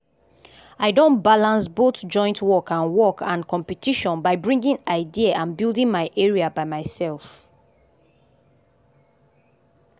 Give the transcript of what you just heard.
i don ballance both joint work and work and competition by bringing idea and building my area by myself.